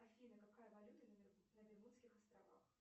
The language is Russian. афина какая валюта на бермудских островах